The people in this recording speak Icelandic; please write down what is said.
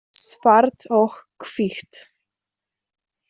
Svart og hvítt.